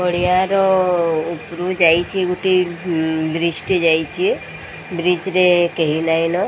ପଡ଼ିଆର ଉପରୁ ଯାଇଚି ଗୋଟେ ବ୍ରିଜ୍ ଟେ ଯାଇଚି ବ୍ରିଜ୍ ରେ କେହି ନାଇନ।